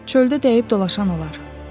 Çöldə dəyib dolaşan olar.